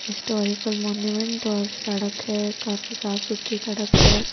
Historical monument और सड़क है काफी साफ सुथरी सड़क है।